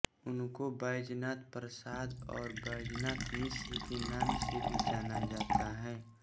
उनको बैजनाथ प्रसाद और बैजनाथ मिश्र के नाम से भी जाना जाता है